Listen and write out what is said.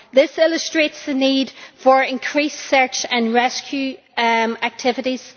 This illustrates the need for increased search and rescue activities.